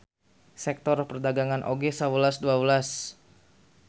Sektor perdagangan oge sawelas dua welas.